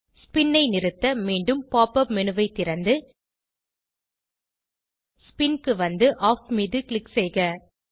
spin ஐ நிறுத்த மீண்டும் pop up மேனு ஐ திறந்து ஸ்பின் க்கு வந்து ஆஃப் மீது க்ளிக் செய்க